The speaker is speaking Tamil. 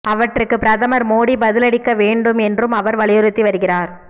அவற்றுக்கு பிரதமர் மோடி பதிலளிக்க வேண்டும் என்றும் அவர் வலியுறுத்தி வருகிறார்